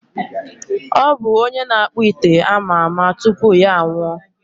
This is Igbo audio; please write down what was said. Ọ bụ onye na-akpụ ite ama ama tupu ya anwụọ?